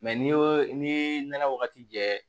Mɛ n'i y'o ni nɛnɛ wagati jɛ